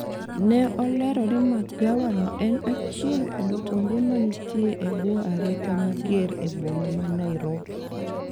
ne olero ni magawa no en achiel kuom kuonde manitie e bwo arita mager e boma ma Nairobi